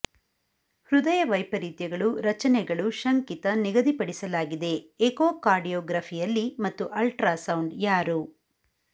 ಹೃದಯ ವೈಪರೀತ್ಯಗಳು ರಚನೆಗಳು ಶಂಕಿತ ನಿಗದಿಪಡಿಸಲಾಗಿದೆ ಎಕೋಕಾರ್ಡಿಯೋಗ್ರಫಿಯಲ್ಲಿ ಮತ್ತು ಅಲ್ಟ್ರಾಸೌಂಡ್ ಯಾರು